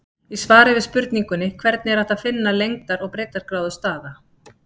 Í svari við spurningunni Hvernig er hægt að finna lengdar- og breiddargráðu staða?